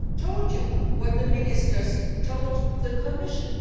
I have told you what the ministers told the Commission.